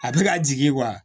A bɛ ka jigin